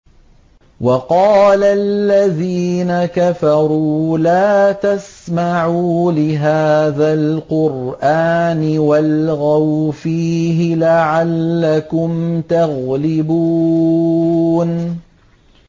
وَقَالَ الَّذِينَ كَفَرُوا لَا تَسْمَعُوا لِهَٰذَا الْقُرْآنِ وَالْغَوْا فِيهِ لَعَلَّكُمْ تَغْلِبُونَ